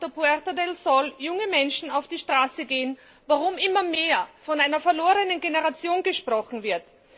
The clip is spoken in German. auf dem Puerta de Sol junge Menschen auf die Straße gehen, warum immer mehr von einer verlorenen Generation gesprochen wird.